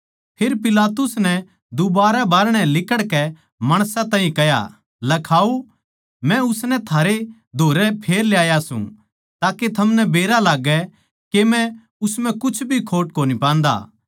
फेर पिलातुस नै दुबारै बाहरणै लिकड़कै माणसां ताहीं कह्या लखाओ मै उसनै थारै धोरै फेर ल्याया सूं ताके थमनै बेरा लाग्गै के मै उस म्ह कुछ भी खोट कोनी पान्दा